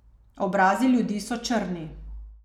Obrazi ljudi so črni.